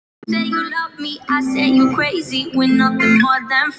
Erni fannst Gerður of köld.